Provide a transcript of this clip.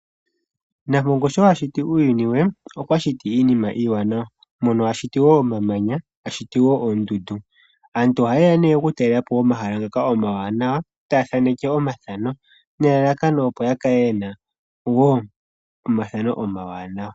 Nampongo sho a shiti uuyuni we okwa shiti iinima iiwanawa. Mono a shiti wo omamanya a shiti wo oondundu. Aantu ohaye ya nee okutalela po omahala ngaka omawanawa taya thaneke omathano nelalakano opo ya kale yena omathano omawanawa.